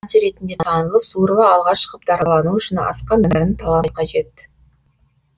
демек әнші ретінде танылып суырыла алға шығып даралану үшін асқан дарын талант қажет